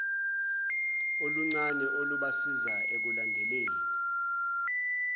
oluncane olubasiza ekulandeleni